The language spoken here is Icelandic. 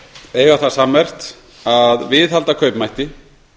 eiga það sammerkt að viðhalda kaupmætti